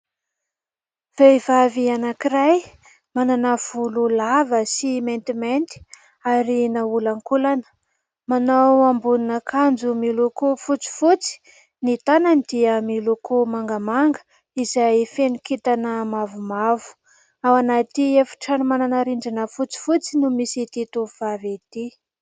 Vehivavy anankiray manana volo lava sy maintimainty ary naolankolana manao ambonina akanjo miloko fotsifotsy. Ny tanany dia miloko mangamanga izay feno kintana mavomavo, ao anaty efitrano manana rindrina fotsifotsy no misy ity tovovavy ity.